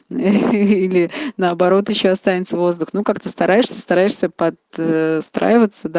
или наоборот ещё останется воздух ну как ты стараешься стараешься под аа страиваться да